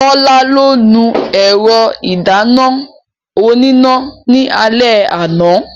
Tọ́lá ló nu ẹ̀rọ ìdáná oníná ní alẹ́ àná.